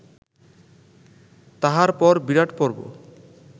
তাহার পর বিরাটপর্ব